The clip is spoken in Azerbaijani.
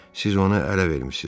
siz onu ələ vermisiz.